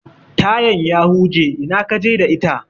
Tayan ya huje, ina kaje da ita?